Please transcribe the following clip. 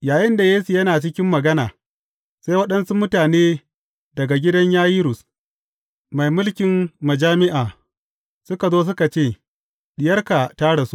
Yayinda Yesu yana cikin magana, sai waɗansu mutane daga gidan Yayirus, mai mulkin majami’a, suka zo suka ce, Diyarka ta rasu.